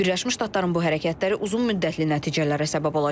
Birləşmiş Ştatların bu hərəkətləri uzunmüddətli nəticələrə səbəb olacaq.